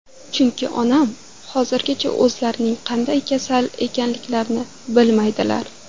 Chunki onam hozirgacha o‘zlarining qanday kasal ekanliklarini bilmaydilar.